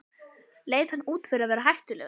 Leit hann út fyrir að vera hættulegur?